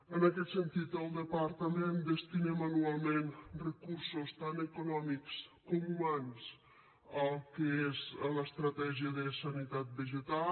en aquest sentit el departament destinem anualment recursos tant econòmics com humans al que és l’estratègia de sanitat vegetal